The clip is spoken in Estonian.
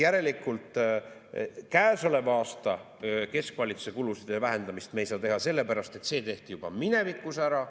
Järelikult käesoleva aasta keskvalitsuse kulude vähendamist me ei saa teha sellepärast, et see tehti juba minevikus ära.